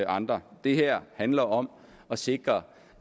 andre det her handler om at sikre